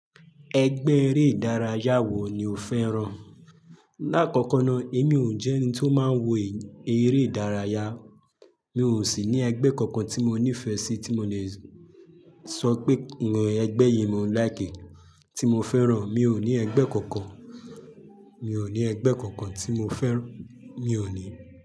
Ẹgbẹ́ eré ìdárayá wo ni o fẹ́ràn? Láàkọ́kọ́na, èmi ò jẹ́ ẹni tí ó máa ń wo eré ìdárayá, mi ò sì ní ẹgbẹ́ kankan tí mo nífẹ̀ẹ́ sí tí mo lè sọ pé, ǹjẹ́ ẹgbẹ́ yìí mo ń like, tí mo fẹ́ràn. Mi ò ní ẹgbẹ́ kankan, mi ò ní ẹgbẹ́ kankan tí mo fẹ́ràn. Mi ò ní.